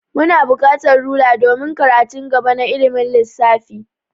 Muna bukatar rula domin karatun gaba na ilimin lissafi.